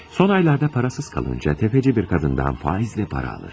Son aylarda parasız qalınca Təpəci bir qadından faizlə para alır.